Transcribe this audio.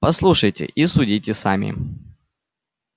послушайте и судите сами